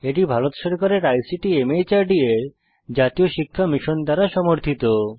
এটি ভারত সরকারের ICT MHRD এর জাতীয় সাক্ষরতা মিশন দ্বারা সমর্থিত